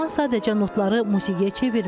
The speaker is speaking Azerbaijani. Ləman sadəcə notları musiqiyə çevirmir.